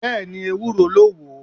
Bẹ́ẹ̀ni. Ewúro ló wo.....